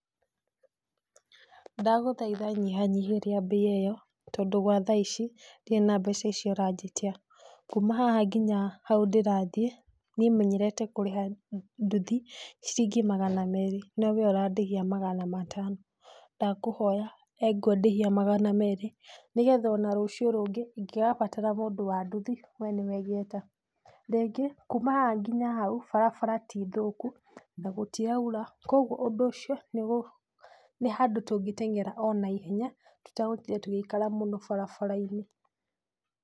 Ndagũthaitha nyihanyihĩria bei ĩyo tondũ gwa thaici ndirĩ na mbeca icio ũranjĩtia, kuma haha nginya hau ndĩrathie niĩ menyerete kũrĩha ndũthi ciringi magana merĩ no wee ũrandĩhia magana matano, ndakũhoya engwe ndĩhia magana merĩ nĩguo ona rũcio rũngĩ ĩngĩkabatara mũndũ wa ndũthi wee nĩwe ngeta, rĩngĩ kuma haha nginya hau barabara ti thũku na gũtiraura, koguo ũndũ ũcio nĩ handũ tũngĩteng'era ona ihenya tũtagũtinda tũgĩikara mũno barabarainĩ.